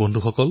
বন্ধুসকল